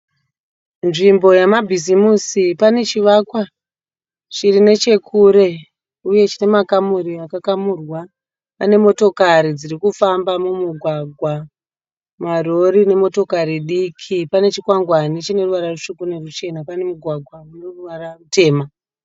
Nzvimbo yamabhizimusi pane chivakwa chiri nechekure uye chinemakamuri akakamurwa. Pane motokari dzirikufamba mumugwagwa, marori nemotokari diki. Pane chikwangwani chineruvara rutsvuku neruchena. Pane mugwagwa uneruvara rutema.